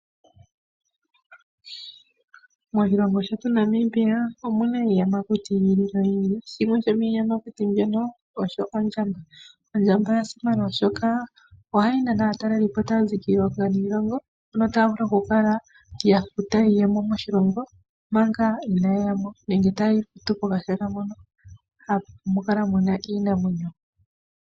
Moshilongo shetu Namibia omuna iiyamakuti yi ili noyi ili. Shimwe sho miiyamakuti mbyono osho ondjamba. Ondjamba oya simana oshoka ohayi nana aatalelipo taya zi kiilongo niilongo, no taya vulu oku kala yafuta iiyemo moshilongo manga inaa yeya mo nenge taya futu kashona moka hamu kala iinamwenyo.